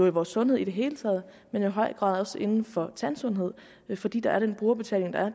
i vores sundhed i det hele taget og i høj grad inden for tandsundhed fordi der er den brugerbetaling der er